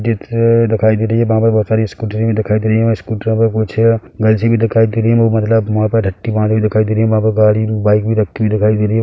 चित्र दिखाई दे रही है वहाँ पर बहुत सारी स्कुटरे भी दिखाई दे रही है वहाँ स्कुटरो पर कुछ गर्लसे भी दिखाई दे रही है वो मतलब वहापर अक्टीवा भी दिखाई दे रही है वहाँ पर गाड़ी बाइक भी रखी हुई दिखाई दे रही हैं।